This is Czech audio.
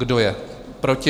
Kdo je proti?